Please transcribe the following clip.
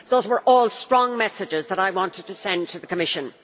Those were all strong messages that I wanted to send to the Commission.